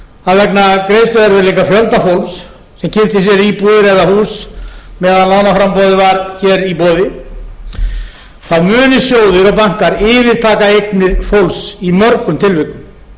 að vegna greiðsluerfiðleika fjölda fólks sem keypti sér íbúðir eða hús meðan lánaframboðið var hér í boði muni sjóðir og bankar yfirtaka eignir fólks í mörgum tilvikum